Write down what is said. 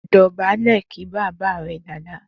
Dò̩bálè̩ kí bàbá rẹ dáadáa!